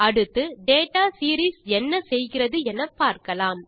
அடுத்து data series என்ன செய்கிறது எனப்பார்க்கலாம்